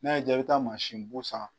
Ne ye ja e be taa mansibu san